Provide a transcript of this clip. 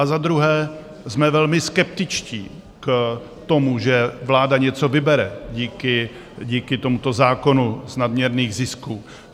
A za druhé, jsme velmi skeptičtí k tomu, že vláda něco vybere díky tomuto zákonu z nadměrných zisků.